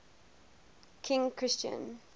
king christian